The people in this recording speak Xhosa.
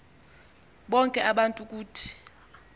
bonke abantu ukuthi